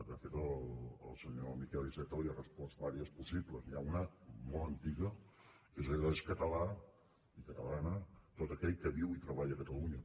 de fet el senyor miquel iceta li ha respost unes quantes de possibles n’hi ha una molt antiga que és allò d’ és català i catalana tot aquell que viu i treballa a catalunya